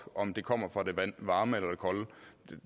om det kommer fra det varme eller det kolde